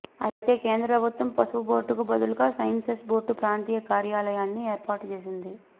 అయితే కేంద్ర ప్రభుత్వం పసుపు బోర్డుకు బదులుగా స్సైసెస్ బోర్డు ప్రాంతీయ కార్యాలయాన్ని ఏర్పాటు చేసింది